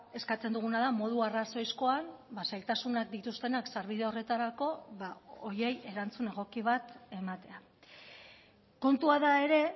eskatzen duguna da modu arrazoizkoan zailtasunak dituztenak sarbide horretarako horiei erantzun egoki bat ematea kontua da ere